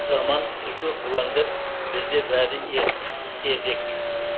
заман түлкі бұлаңдап бізде бәрі ертерек